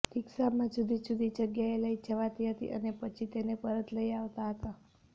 રીક્ષામાં જુદી જુદી જગ્યાએ લઈ જવાતી હતી અને પછી તેને પરત લઈ આવતાં હતા